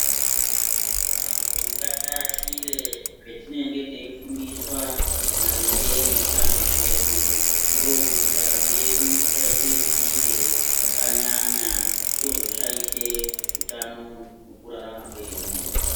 Vantu ngatiashire zvetinenge teyifundiswa maringe neutano hwedu, ndokuti ndaramo yedu isayite zvibinge zvakanyanya zvozoshayishe utano mukurarama kwedu.